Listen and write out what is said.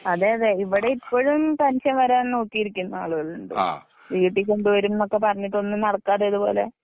അതെയതെ ഇവിടെ ഇപ്പൊഴും പെന്‍ഷന്‍ വരാൻ നോക്കിയിരിക്കുന്ന ആളുകളുണ്ട്. വീട്ടികൊണ്ടു വരും ന്നൊക്കെ പറഞ്ഞിട്ട് ഒന്നും നടക്കാതെ ഇതുപൊലെ.